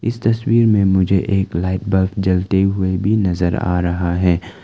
तस्वीर में मुझे एक लाइट बल्ब जलते हुए भी नजर आ रहा है।